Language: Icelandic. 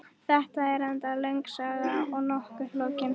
Þetta er reyndar löng saga og nokkuð flókin.